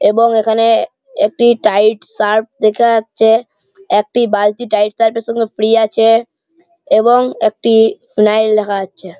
এবং এখানে একটি টাইড সার্ফ দেখা যাচ্ছে। একটি বালতি টাইড সার্ফ এরসঙ্গে ফ্রী আছে এবং একটি ফিনাইল দেখা যাচ্ছে।